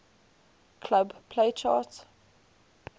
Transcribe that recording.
club play chart